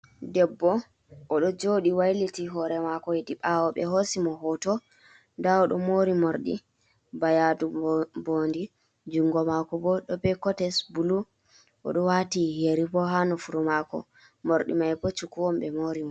Debbo odo jodi wailiti hore mako yedi bawo be hosi mo hoto da odo mori mordi bayadu bodi, jungo mako bo do be cotes bulu o do wati heri bo ha no furu mako mordi mai bo cukuwon be mori mo.